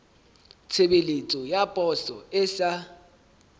tshebeletso ya poso e sa